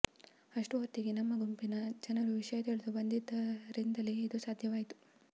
ಅಷ್ಟು ಹೊತ್ತಿಗೆ ನಮ್ಮ ಗುಂಪಿನ ಜನರು ವಿಷಯ ತಿಳಿದು ಬಂದಿದ್ದರಿಂದಲೇ ಅದು ಸಾಧ್ಯವಾಯಿತು